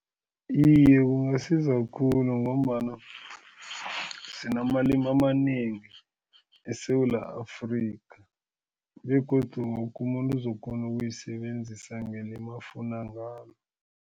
Iye, kungasiza khulu ngombana sinamalimi amanengi eSewula Afrika begodu woke umuntu uzokukghona ukuyisebenzisa ngelimi afuna ngalo.